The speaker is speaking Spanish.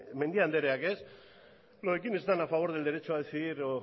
mendiak andereak quién está a favor del derecho a decidir o